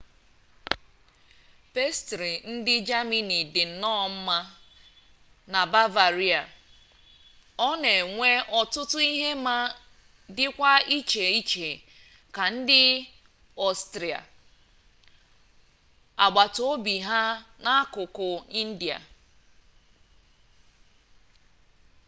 pastrị ndị jamini dị nnọọ mma na bavaria ọ na-enwe ọtụtụ ihe ma dịkwa iche iche ka nke ndị ọstrịa agbata obi ha n'akụkụ ndịda